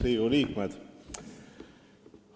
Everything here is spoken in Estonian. Riigikogu liikmed!